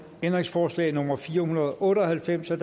ændringsforslag nummer fire hundrede og otte og halvfems af